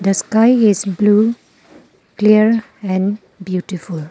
The sky is blue clear and beautiful.